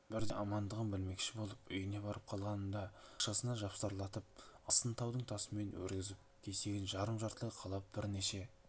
бірде амандығын білмекші болып үйіне барып қалғанымда бақшасына жапсарластырып астын таудың тасымен өргізіп кесегін жарым жартылай қалап бірнеше